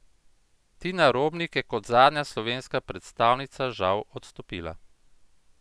Tina Robnik je kot zadnja slovenska predstavnica žal odstopila.